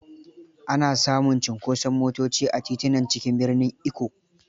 Ana samun cunkoson motoci a titunan cikin birnin Ikko.